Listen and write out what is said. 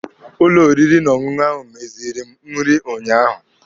Ụlọ oriri na ọṅụṅụ ahụ meziiri m nri unyaahụ.